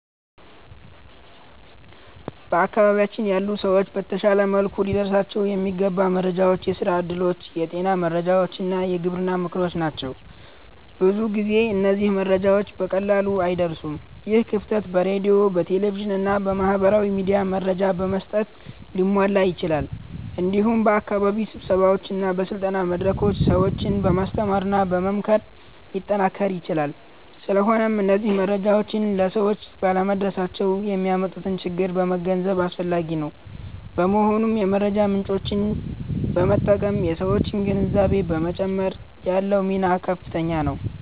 በአካባቢያችን ያሉ ሰዎች በተሻለ መልኩ ሊደርሳቸው የሚገባ መረጃ የስራ እድሎች፣ የጤና መረጃዎች እና የግብርና ምክሮች ናቸው። ብዙ ጊዜ እነዚህ መረጃዎች በቀላሉ አይደርሱም። ይህ ክፍተት በሬዲዮ፣ በቴሌቪዥን እና በማህበራዊ ሚዲያ መረጃ በመስጠት ሊሟላ ይችላል። እንዲሁም በአካባቢ ስብሰባዎች እና በስልጠና መድረኮች ሰዎችን በማስተማርና በመምከር ሊጠናከር ይችላል። ስለሆነም እነዚህ መረጃዎች ለሰዎች ባለመድረሳቸው የሚያመጡትን ችግር መገንዘብ አስፈላጊ ነው። በመሆኑም የመረጃ ምጮችን በመጠቀም የሠዎችን ግንዛቤ በመጨመር ያለው ሚና ከፍተኛ ነው።